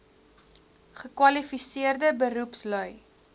gekwali seerde beroepslui